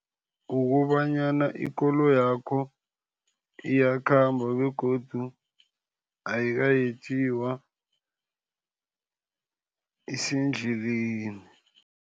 Kukobanyana ikoloyakho iyakhamba, begodu ayikayetjiwa isendleleni.